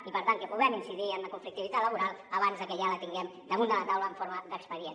i per tant que puguem incidir en la conflictivitat laboral abans de que ja la tinguem damunt la tau·la en forma d’expedient